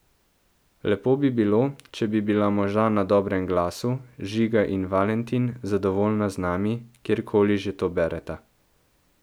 Lepo bi bilo, če bi bila moža na dobrem glasu, Žiga in Valentin, zadovoljna z nami, kjerkoli že to bereta.